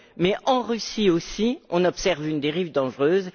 Mais en Russie aussi, on observe une dérive dangereuse.